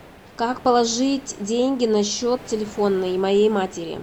как положить деньги на счет телефонный моей матери